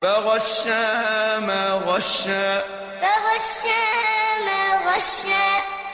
فَغَشَّاهَا مَا غَشَّىٰ فَغَشَّاهَا مَا غَشَّىٰ